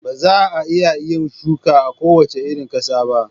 Ba za a iya yin shuka a kowace irin ƙasa ba.